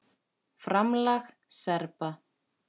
FRAMLAG SERBA